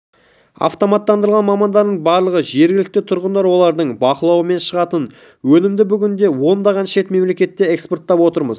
автоматтандырылған мамандардың барлығы жергілікті тұрғындар олардың бақылауымен шығатын өнімді бүгінде ондаған шет мемлекетке экспорттап отырмыз